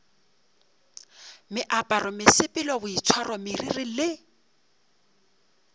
meaparo mesepelo boitshwaro meriri le